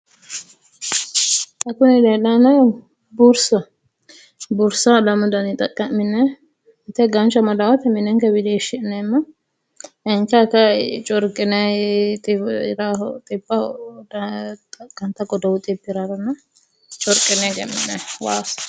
xa kuni leellanni noohu bursaho. Bursa lamu daniyi xaqqa'minayi mite ganshu amadaa wote mine wiliishshi'neemmo dancha kayii corqinayiiti raaho xibbaho xaqqantanno corqine egemminayi waasi.